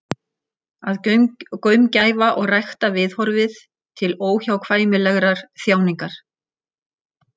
Að gaumgæfa og rækta viðhorfið til óhjákvæmilegrar þjáningar.